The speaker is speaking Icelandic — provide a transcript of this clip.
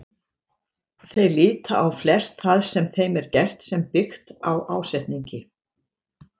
Þeir líta á flest það sem þeim er gert sem byggt á ásetningi.